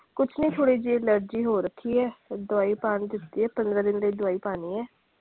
ਕੁੱਛ ਨੀ ਥੋੜੀ ਜੀ allergy ਹੋ ਰੱਖੀ ਹੈ, ਦਵਾਈ ਪਾਉਣ ਨੂੰ ਦਿਤੀ ਹੈ ਪੰਦਰਾਂ ਦਿਨ ਲਈ ਦਵਾਈ ਪਾਣੀ ਹੈ।